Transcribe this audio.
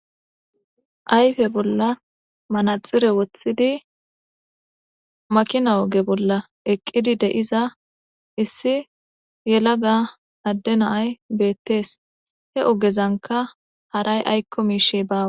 Ayfe bolla manaxire woththidi makina oge bolla eqqidi de'iza issi yela ga adde naay beettees he ogezanka haray aykko miishe baawa.